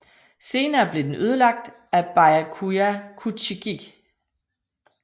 Senere blev den ødelagt af Byakuya Kuchiki